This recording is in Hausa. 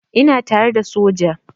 Ina tare da soja.